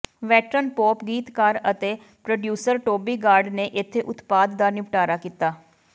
veteran pop ਗੀਤਕਾਰ ਅਤੇ producer Toby Gad ਨੇ ਇੱਥੇ ਉਤਪਾਦ ਦਾ ਨਿਪਟਾਰਾ ਕੀਤਾ